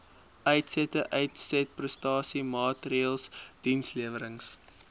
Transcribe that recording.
uitsette uitsetprestasiemaatreëls dienslewerings